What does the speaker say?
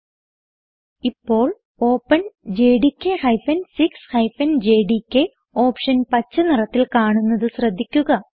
ഇപ്പോൾ openjdk 6 JDK option പച്ച നിറത്തിൽ കാണുന്നത് ശ്രദ്ധിക്കുക